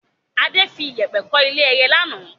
Adé fi Yépẹ́ kọ́ ilé ẹyẹ lánàá